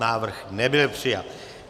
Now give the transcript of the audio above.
Návrh nebyl přijat.